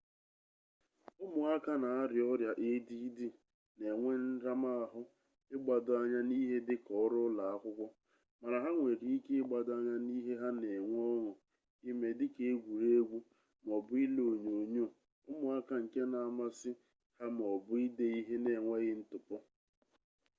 ụmụaka n'arịa ọrịa add na-enwe nramahụ ịgbado anya n'ihe dịka ọrụ ụlọakwụkwọ mana ha nwere ike ịgbado anya n'ihe ha n'enwe ọñụ ime dịka egwuregwu m'ọbụ ile onyonyo ụmụaka nke na-amasị ha m'ọbụ ide ihe n'enweghị ntụpọ